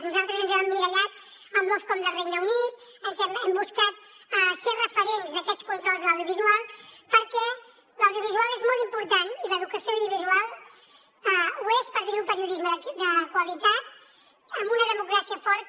nosaltres ens hem emmirallat en l’ofcom del regne unit hem buscat ser referents d’aquests controls de l’audiovisual perquè l’audiovisual és molt important i l’educació audiovisual ho és per tenir un periodisme de qualitat en una democràcia forta